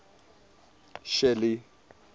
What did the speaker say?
shelly